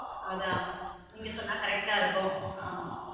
அதா நீங்க சொன்ன correct ஆ இருக்கும் ஆமா